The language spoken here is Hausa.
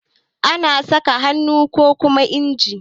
Ana saƙa da hannu kokuma inji.